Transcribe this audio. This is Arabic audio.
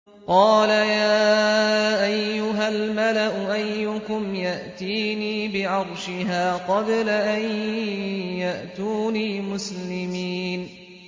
قَالَ يَا أَيُّهَا الْمَلَأُ أَيُّكُمْ يَأْتِينِي بِعَرْشِهَا قَبْلَ أَن يَأْتُونِي مُسْلِمِينَ